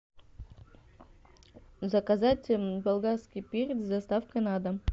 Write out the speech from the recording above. заказать болгарский перец с доставкой на дом